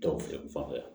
Tɔw fɛ yan